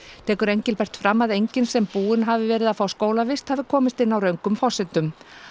tekur Engilbert fram að enginn sem búinn hafi verið að fá skólavist hafi komist inn á röngum forsendum